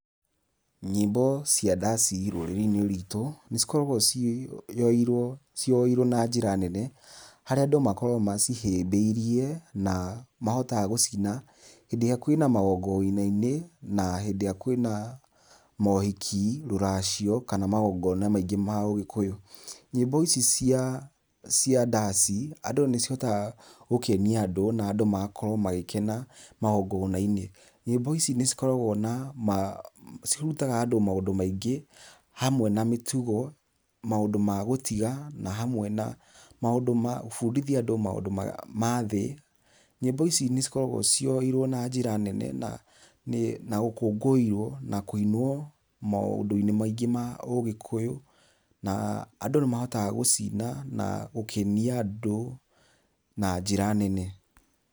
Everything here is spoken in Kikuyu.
Nyĩmbo cia ndaci rũrĩrĩ-inĩ rwitũ , nĩ cikoragwo cieirwo na njĩra nene, harĩa andũ makoragwo macihĩmbĩirie na mahotaga gũcina hĩndĩ ĩrĩa kwĩna magongona-inĩ na hĩndĩ ĩrĩa kwĩna mohiki, rũracio kana magongona-inĩ maingĩ ma ũgĩkũyũ , nyĩmbo ici iria cia ndaci andũ nĩmahotaga gũkenia andũ na andũ magakorwo magĩkena magongona-inĩ, nyĩmbo ici nĩ cikoragwo na , cirutaga andũ maũndũ maingĩ , hamwe na mĩtugo, maũndũ magũtiga na hamwe na maũndũ magũbundithia andũ maũndũ ma thĩ, nyĩmbo ici nĩ cikoragwo cioerwo na njĩra nene na gũkũngũvrwo na kuinwo maũndũ-inĩ maingĩ ma ũgĩkũyũ na andũ nĩ mahotaga , gũcina na gũkenia andũ na njĩra nene.